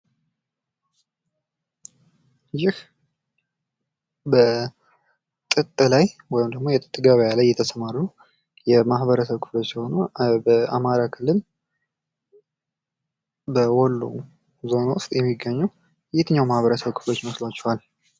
ይህ በጥጥ ላይ ወይም ደግሞ የጥጥ ገብያ ላይ የተሰማሩ የማኅበረሰብ ክፍሎች ሲሆኑ በአማራ ክልል በወሎ ዞን ውስጥ የሚገኙ የትኛው ማኅበረሰብ ክፍሎች ይመስሏችኋል?